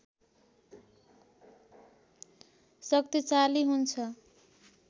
शक्तिशाली हुन्छ